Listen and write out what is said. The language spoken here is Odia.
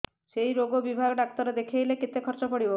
ସେଇ ରୋଗ ବିଭାଗ ଡ଼ାକ୍ତର ଦେଖେଇଲେ କେତେ ଖର୍ଚ୍ଚ ପଡିବ